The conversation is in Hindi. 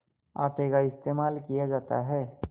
आटे का इस्तेमाल किया जाता है